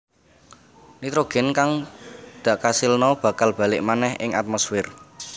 Nitrogén kang dikasilna bakal balik manèh ing atmosfér